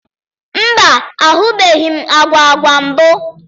Mba, ahụbeghị m agwa agwa mbụ.